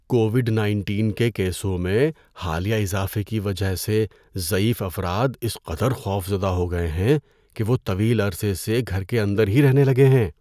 Covid nineteen کے کیسوں میں حالیہ اضافے کی وجہ سے ضعیف افراد اس قدر خوفزدہ ہو گئے ہیں کہ وہ طویل عرصے سے گھر کے اندر ہی رہنے لگے ہیں۔